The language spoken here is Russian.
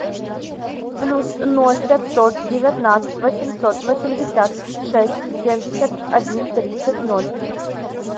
плюс ноль пятьсот девятнадцать восемьсот восемьдесят шесть семьдесят один тридцать ноль